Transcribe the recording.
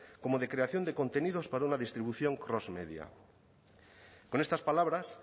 como de creación de contenidos para una distribución cross media con estas palabras